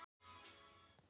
Blóðtaka hjá Stjörnunni